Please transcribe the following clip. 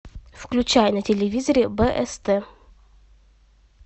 включай на телевизоре бст